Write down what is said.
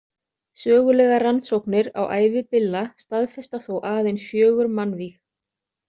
Sögulegar rannsóknir á ævi Billa staðfesta þó aðeins fjögur mannvíg.